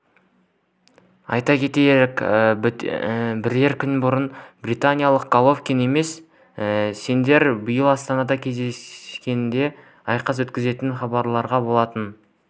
айта кетейік бірер күн бұрын британиялық головкин мен сондерс биыл астанада кезінде айқас өткізетінін хабарлаған болатын